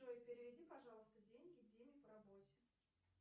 джой переведи пожалуйста деньги диме по работе